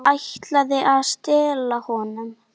Ætlaði að stela honum!